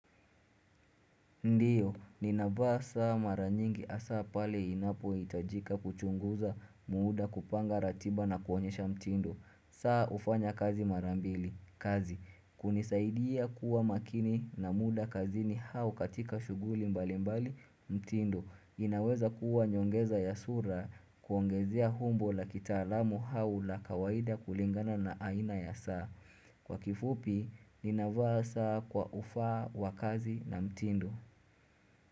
Ndiyo, ninavaa saa maranyingi asa pale inapo hitajika kuchunguza muda kupanga ratiba na kuonyesha mtindo. Saa ufanya kazi marambili. Kazi, kunisaidia kuwa makini na muda kazini au katika shuguli mbali mbali mtindo. Inaweza kuwa nyongeza ya sura kuongezea umbo la kitaalamu au la kawaida kulingana na aina ya saa. Kwa kifupi, ninavaa saa kwa ufaa wa kazi na mtindo.